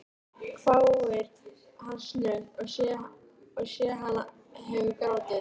hváir hann snöggt og ég sé hann hefur grátið.